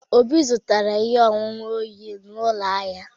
Obi zụtara ihe ọṅụṅụ oyi na ụlọ ahịa.